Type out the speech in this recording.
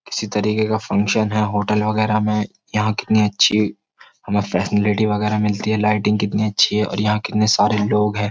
किसी तरीके का फंक्शन है होटल वगैरह में यहां कितनी अच्छी हमें फर्शनलिटी वगैरह मिलती है लाइटिंग कितनी अच्छी है और यहां कितने सारे लोग हैं।